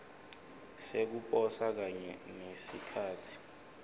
sekuposa kanye nesikhatsi